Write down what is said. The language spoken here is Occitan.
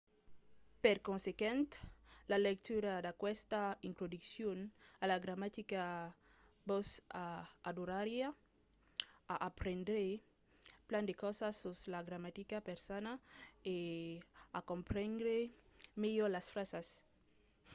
per consequent la lectura d'aquesta introduccion a la gramatica vos ajudariá a aprendre plan de causas sus la gramatica persana e a comprendre melhor las frasas